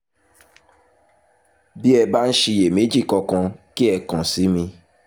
bí ẹ bá ń ṣiyèméjì kankan kí ẹ kàn sí mi